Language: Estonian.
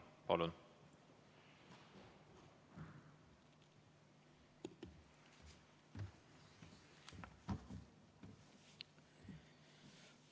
Palun!